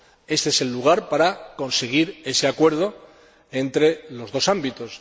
Éste es el lugar para conseguir ese acuerdo entre los dos ámbitos.